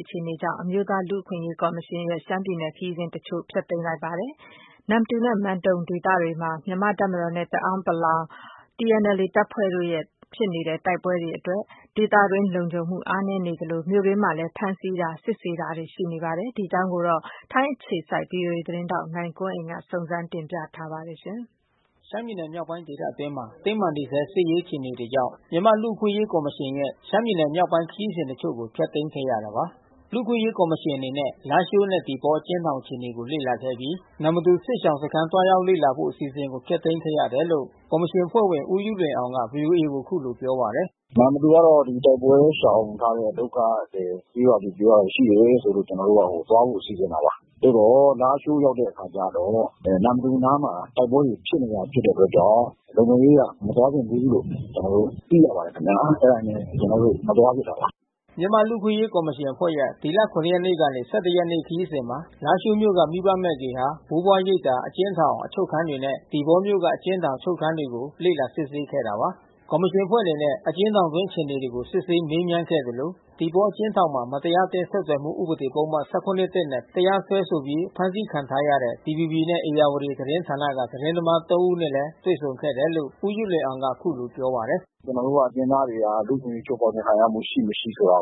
အခြေအနေတွေကြောင့် အမျိုးသားလူ့အခွင့်ကော်မရှင် အဖွဲ့ကနေ ရှမ်းပြည်နယ်ခရီးစဉ်တချို့ကိုဖျက်သိမ်းခဲ့ရတယ်လို့ တာဝန်ရှိသူတွေကပြောပါတယ်။ နမ္မတူနဲ့မန်တုံဒေသဘက်မှာ မြန်မာ့တပ်မတော်နဲ့တအာင်းပလောင်TNLAတပ်ဖွဲ့တို့ တိုက်ပွဲဖြစ်ပွါးနေမှုကြောင့် ဒေသတွင်းလုံခြုံမှုအားနဲနေသလို မြို့အတွင်း ဖမ်းဆီးစစ်ဆေးမှုတွေလဲရှိနေဆဲအခြေအနေမှာရှိနေပါတယ်။ ဗွီအိုအေထိုင်းအခြေစိုက်နိုင်ကွန်းအိန်ကနေသတင်းပေးပို့ထားပါတယ်။ ရှမ်းပြည်နယ်မြောက်ပိုင်းဒေသအတွင်းမှာ တင်းမာနေဆဲစစ်ရေးအခြေအနေတွေကြောင့် မြန်မာ့လူ့အခွင့်အရေးကော်မရှင်ရဲ့ ရှမ်း ပြည်နယ်မြောက်ပိုင်းခရီးစဉ်တချို့ကိုဖျက်သိမ်းခဲ့ရတာပါ။ လူ့အခွင့်အရေးကော်မရှင်အနေနဲ့ လားရှိုးနဲ့သီပေါအကျဉ်းထောင်အခြေအနေကိုလေ့လာခဲ့အပြီး နမ္မတူစစ်ရှောင်စခမ်းသွား ရောက်လေ့လာဖို့အစီအစဉ်ကိုဖျက်သိမ်းခဲ့တယ်လို့ ကော်မရှင်အဖွဲ့ဝင် ဦးယုလွင်အောင်ကVOAကိုအခုလိုပြောပါတယ်။ နမ္မတူကတော့ ဒီတိုက်ပွဲရှောင်ထားတဲ့ ဒုက္ခသည်ကျေးရွာတွေရှိတယ်လို့ကျွန်တော်တို့သွားဖို့စီစဉ်တာပါ။ သို့သော်လားရှိုး ရောက်တဲ့အခါကျတော့ နမ္မတူနားမှာတိုက်ပွဲတွေဖြစ်နေတဲ့အတွက်ကြောင့် လုံခြုံရေးအရမသွားသင့်ဘူးလို့ ကျွန်တော်တို့ သိရပါတယ်ခင်ဗျာ့။ အဲတာနဲ့ကျွန်တော်တို့မသွားဖြစ်တာပါ။ မြန်မာ့လူ့အခွင့်အရေးကော်မရှင်အဖွဲ့ရဲ့ ဒီလ ရက်နေ့ကနေ ရက်နေ့ ခရီးစဉ်မှာ လားရှိုးမြို့က မိဘမဲ့ဂေဟာ၊ ဘိုးဘွား ရိပ်သာ၊ အကျဉ်းထောင် ၊အချုပ်ခန်းတွေနဲ့ သီပေါမြို့က အကျဉ်းထောင်၊ အချုပ်ခန်းတွေလေ့လာစစ်ဆေးခဲ့တာပါ။ ကော်မရှင်အဖွဲ့အနေနဲ့အကျဉ်းထောင်အတွင်းအခြေအနေကိုစစ်ဆေးမေးမြန်းခဲ့သလို သီပေါအကျဉ်းထောင်မှာ မတရားအသင်း ဆက်သွယ်မှုဥပဒေပုဒ်မ၁၇ နဲ့ တရားစွဲဆိုပြီး ဖမ်းဆီးခံထားရတဲ့ DVBနဲ့ဧရာဝတီသတင်းဌာနကသတင်းသမား ဦးနဲ့လည်း တွေ့ဆုံခဲ့တယ်လို့ဦးယုလွင်အောင်ကအခုလိုပြောပါတယ်။ ကျွန်တောို့ကတော့ အကျဉ်းသားတွေဟာ လူ့အခွင့်အရေးချိုးဖေါက်မှုခံရမှုရှိမရှိ ဆိုတာ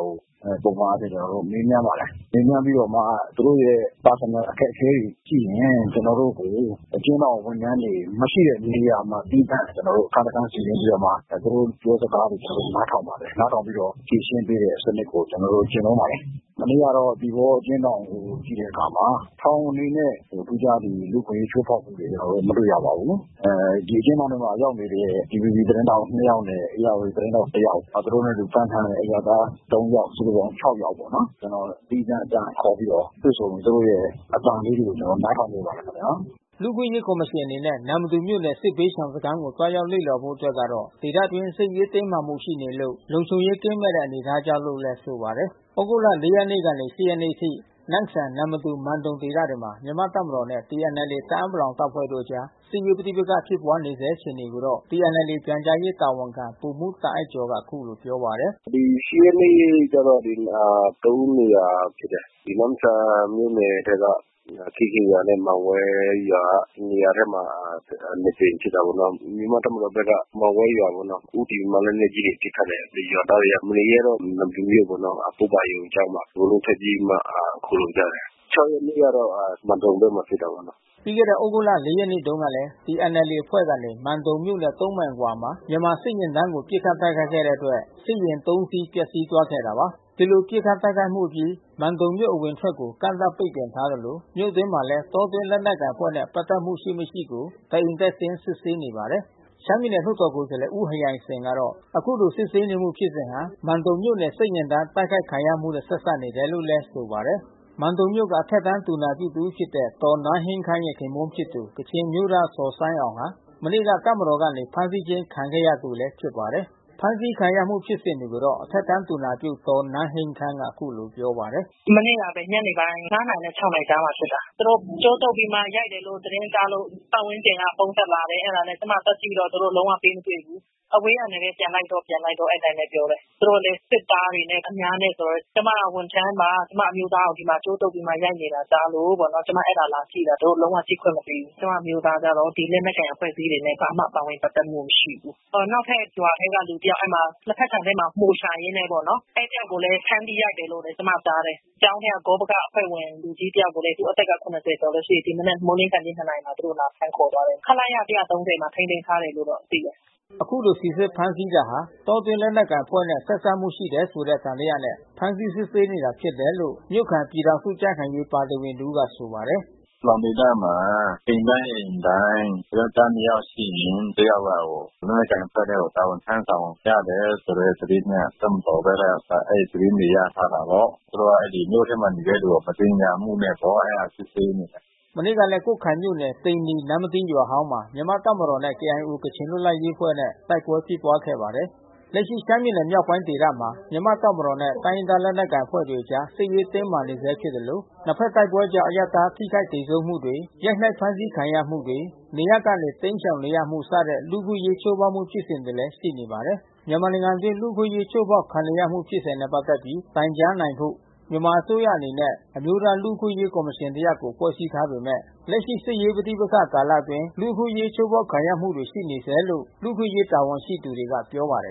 ကို ပုံမှန်အားဖြင့် ကျွန်တော်တို့ မေးမြန်းပါတယ်။ မေးမြန်းပြီးတော့မှာ သူတို့ရဲ့ပုဂ္ဂိုလ်ရေးအခက်ခဲတွေရှိရင်ကျွန်တော်တို့ကို အကျဉ်းထောင်ဝန်ထမ်းတွေမရှိတဲ့ နေရာမှာ သီးသန့်ကျွန်တော်တို့အခန်းတခန်းနေရာမှာ သူတို့ပြောစကား ကျွန်တော်တို့နားထောင်ပါတယ်။ နားထောင်ပြီးတော့ ဖြေရှင်းပေးတဲ့စံနစ်ကိုကျွန်တော်တို့ကျင့်သုံးပါတယ်။ မနေ့ကတော့ သီပေါအကျဉ်းထောင်ကိုကြည့်တဲ့အခါမှာ ထောင်အနေနဲ့ ထူးခြားလူ့အခွင့်အရေးချိုးဖေါက်မှုတွေမတွေ့ရပါဘူး။ ဒီအကျဉ်းထောင်ထဲရောက်နေတဲ့ DVBသတင်းထောက်နှစ်ယောက်နဲ့ ဧရာဝတီသတင်းထောက်တယောက် နောက်သူတို့နဲ့အတူတူဖမ်းထားတဲ့ အရပ်သားသုံးယောက်စုစုပေါင်း ယောက်ပေါ့နော်။ ကျွန်တော်သီးသန့်ခေါ်ပြီးတော့တွေ့ဆုံ သူတို့ရဲ့အသံလေးတွေကိုကျွန်တော်တို့နားထောင်ပေးပါတယ်ခင်ဗျာ။ လူ့အခွင့်အရေးကော်မရှင်အနေနဲ့နမ္မတူမြို့နယ်ကစစ်ဘေးရှောင်စခမ်းကိုသွားရောက်လေ့လာဖို့အတွက်က ဒေသတွင်းစစ်ရေး တင်းမာမှုရှိနေလို့လုံခြုံရေးကင်းမဲ့နေတဲ့အနေအထားကြောင့်လို့သူကဆိုပါတယ်။ သြဂုတ်လ ရက်နေ့ကနေ ရက်နေ့အထိ နမ့်ဆန် နမ္မတူ မန်တုံဒေသဘက်မှာ မြန်မာ့တပ်မတော်နဲ့ TNLAတအာင်း ပလောင် တပ်ဖွဲ့တို့အကြား စစ်ရေးပဋိပက္ခဖြစ်ပွါးနေဆဲအခြေအနေကိုတော့TNLAပြန်ကြားရေးတာဝန်ခံဗိုလ်မှူးတာ့အိုက်ကျော်က အခုလို ပြောပါတယ်။ ဒီ ရက်နေ့ကျတော့ နေရာဖြစ်တယ်။ ဒီနမ့်ဆန်မြို့နယ်ထဲက ခေးခင်းရွာနဲ့မန်ဝဲရွာနေရာထဲမှာနှစ်ကြိမ်ဖြစ်တာပေါ့နော်။ မြန်မာ့တပ်မတော်က မန်ဝဲရွာကိုဦးတည်ပြီးမှ လက်နက်ကြီးတွေနဲ့ပစ်ခတ်တယ်။ ရွာသားတွေကမနေရဲတော့ နမ္မတူမြို့ပေါ် ပုဗ္ဗါရုံကျောင်းမှာအကုန်လုံးထွက်ပြေးပြီးမှခိုလှုံကြတယ်။ ရက်နေ့ကျတော့မန်တုံဘက်မှာဖြစ်တာပေါ့နော်။ ပြီးခဲ့တဲ့သြဂုတ် ရက်နေ့တုန်းက TNLAအဖွဲ့ကနေ မန်တုံမြို့နဲ့ မိုင်အကွာနေရာမှာ မြန်မာ့စစ်ယာဉ်တန်းကို ပစ်ခတ်တိုက် ခိုက်ခဲ့တဲ့အတွက်စစ်ယာဉ် စီးပျက်စီးသွားခဲ့တာပါ။ ဒီလိုပစ်ခတ်တိုက်ခိုက်မှုအပြီး မန်တုံမြို့အဝင်အထွက်ကို ကန့်သတ်ပိတ်ပင်ထားသလို မြို့တွင်းမှာလဲ တောတွင်းလက်နက် ကိုင်အဖွဲ့နဲ့ပက်သက်မှုရှိမရှိကိုတအိမ်တက်ဆင်းစစ်ဆေးနေပါတယ်။ ရှမ်းပြည်နယ်လွှတ်တော်ကိုယ်စားလှယ်ဦးဟယိုင်စင်ကတော့ အခုလိုစစ်ဆေးနေမှုဖြစ်စဉ်ဟာ မန်တုံမြို့နယ်စစ်ယာဉ်တန်း တိုက် ခိုက်ခံရမှုနဲ့ဆက်စပ်နေတယ်လို့ဆိုပါတယ်။ မန်တုံမြို့က အထက်တန်းသူနာပြုတဦးဖြစ်တဲ့ ဒေါ်နန်းဟိန်းခမ်းရဲ့ခင်ပွန်းဖြစ်သူ ကချင်အမျိုးသားဇော်ဆိုင်းအောင်ဟာ မနေ့က တပ်မတော်ကနေဖမ်းဆီးခြင်းခံတဲ့သူတဦးလဲဖြစ်ပါတယ်။ ဖမ်းဆီးခံရမှုဖြစ်စဉ်တွေကိုတော့အထက်တန်းသူနာပြုဒေါ်နန်းဟိန်းခမ်းကနေအခုလိုပြောပါတယ်။ မနေ့ကဘဲ ၅နာရီနဲ့၆နာရီကြားမှာဖြစ်တာ။ သူတို့ကြိုးတုတ်ပြီးမှရိုက်တယ်လို့ သတင်းကြားလို့ပတ်ဝန်းကျင်ကဖုန်းဆက်လာတယ်။ အဲတာကျွန်မသွားကြည့်တော့သူတို့လုံးဝပေးမတွေ့ဘူး။ အဝေးကနေဘဲပြန်လိုက်တော့ပြန်လိုက်တော့ပြောတယ်။ သူတို့လဲ စစ်သားတွေနဲ့ အများနဲ့ဆိုတော့ ကျွန်မကဝန်ထမ်းပါ။ ကျွန်မအမျိုးသားကိုကြိုးတုတ်ပြီးရိုက်နေတာကြားလို့ပေါ့ ကျွန်မ အဲတာလာကြည့်တာ။ သူတို့လုံးဝကြည့်ခွင့်မပေးဘူး။ ကျွန်မအမျိုးသားကတော့ ဒီလက်နက်ကိုင်အဖွဲ့အစည်းတွေနဲ့ လုံး၀ ပါဝင်ပက်သက်မှုမရှိဘူး။ နောက်ထပ်ရွာထဲကလူတယောက် လက်ဖက်ခြံထဲမှာ မှိုရှာရင်းနဲ့ပေါ့နော် အဲဒီတယောက်ကိုလဲ ဖမ်းပြီးရိုက်တယ်လို့ကျွန်မကြားတယ်။ ကျောင်းထဲကလူကြီးဂေါပကအဖွဲ့ဝင်တယောက်ကိုလဲ သု့အသက် လောက်ရှိတယ်။ ဒီမနက်မိုးမလင်းနှစ်နာရီမှာ သူတို့လာဖမ်းသွားတယ်။ ခလရ မှာထိန်းသိမ်းထားတယ်လို့တော့သိတယ်။ အခုလိုစီစစ်ဖမ်းဆီးတာဟာ တောတွင်းလက်နက်ကိုင်အဖွဲ့နဲ့ ဆက်စပ်မှုရှိတယ်ဆိုတဲ့သံသယနဲ့ ဖမ်းဆီးစစ်ဆေးနေတာဖြစ် တယ်လို့ မြို့ခံပြည်ထောင်စုကြံ့ခိုင်ရေးပါတီဝင်တဦးကဆိုပါတယ်။ ပလောင်ဒေသမှာအိမ်တိုင်းအိမ်တိုင်း ယောကျ်ားနှစ်ယောက်ရှိရင် တယောက်က လက်နက်ကိုင်အဖွဲ့ထဲကို တာဝန်ထမ်းဆောင်ကြ တယ်ဆိုတဲ့သတင်းနဲ့ တပ်မတော်ဘက်က အဲဒီသတင်းတွေရထားတာပေါ့။ သူတို့ကမြို့ထဲမှာနေတဲ့သူတွေကိုမသင်္ကာမှုနဲ့ပေါ့အဲ တာစစ်ဆေးနေတာ။ မနေ့ကလဲ ကွတ်ခိုင်မြို့နယ် သိန္နီ နမ္မတီရွာဟောင်းမှာ မြန်မာ့တပ်မတော်နဲ့ KIOကချင်လွတ်လပ်ရေးအဖွဲ့နဲ့တိုက်ပွဲဖြစ်ပွါးခဲ့ပါ တယ်။ လက်ရှိရှမ်းပြည်နယ်မြောက်ပိုင်းဒေသမှာမြန်မာ့တပ်မတော်နဲ့တိုင်းရင်းသားလက်နက်ကိုင်အဖွဲ့တွေအကြား စစ်ရေးတင်းမာနေဆဲ ဖြစ်သလို နှစ်ဖက်တိုက်ပွဲကြောင့် အရပ်သားထိခိုက်သေဆုံးမှုတွေ ရိုက်နှက်ဖမ်းဆီးခံရမှုတွေ နေရပ်ကနေ တိမ်းရှောင်နေ ရမှုစတဲ့လူ့အခွင့်အရေးချိုးဖေါက်မှုဖြစ်စဉ်တွေလဲရှိနေပါတယ်။ မြန်မာနိုင်ငံအတွင်းလူ့အခွင့်အရေးချိုးဖေါက်ခံနေရမှုဖြစ်စဉ်နဲ့ပက်သက်ပြီးတိုင်ကြားနိုင်ဖို့ မြန်မာအစိုးရအနေနဲ့ အမျိုးသားလူ့ အခွင့်အရေးကော်မရှင်တရပ်ကိုဖွဲ့စည်းထားပေမဲ့ လက်ရှိစစ်ရေးပဋိပက္ခကာလအတွင်း လူ့အခွင့်အရေးချိုးဖေါက်ခံ ရမှုတွေရှိနေ ဆဲလို့ လူ့အခွင့်အရေးတာဝန်ရှိသူတွေကပြောပါတယ်